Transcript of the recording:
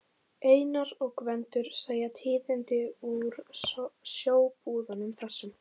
Einar og Gvendur segja tíðindi úr sjóbúðunum, þessum